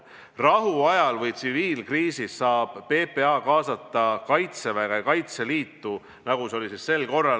Rahuajal või tsiviilkriisis saab PPA kaasata Kaitseväge ja Kaitseliitu, nagu see oli sel korral.